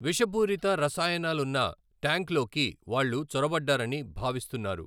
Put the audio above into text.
విషపూరిత రసాయనాలున్న ట్యాంక్లోకి వాళ్ళు చొరబడ్డారని భావిస్తున్నారు.